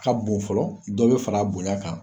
Ka bon fɔlɔ, dɔ bɛ far'a bonya kan